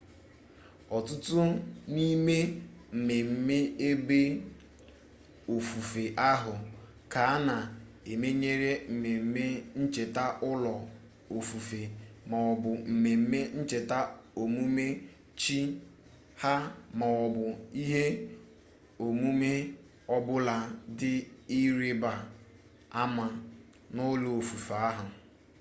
ọtụtụ n'ime mmemme ebe ofufe ahụ ka a na-emenyere mmemme ncheta ụlọ ofufe maọbụ mmemme ncheta ọmụmụ chi ha maọbụ ihe omume ọbụla dị ịrịba ama n'ụlọ ofufe ahụ